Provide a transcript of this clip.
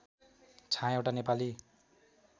छाया एउटा नेपाली